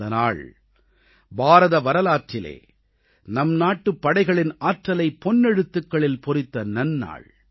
அந்த நாள் பாரத வரலாற்றிலே நம்நாட்டுப் படைகளின் ஆற்றலைப் பொன்னெழுத்துகளில் பொறித்த நன்னாள்